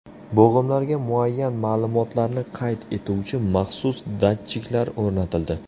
Bo‘g‘imlarga muayyan ma’lumotlarni qayd etuvchi maxsus datchiklar o‘rnatildi.